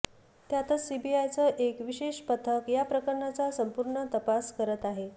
यातच सीबीआयचं एक विशेष पथक या प्रकरणाचा संपूर्ण तपास करत आहे